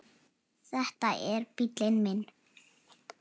Þetta er bíllinn minn